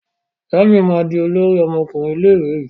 Jamiu ma dì olórí ọmọkùnrin ilé ìwé yí.